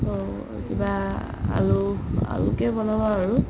অ কিবা আৰু আলো কে বনাম আৰু